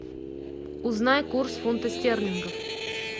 узнай курс фунта стерлингов